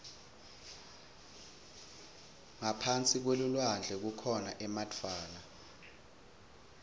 ngaphasi kwelulwandle kukhona emadvwala